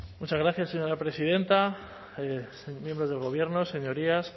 muchas gracias señora presidenta miembros del gobierno señorías